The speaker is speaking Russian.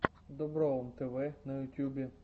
доброум тв на ютюбе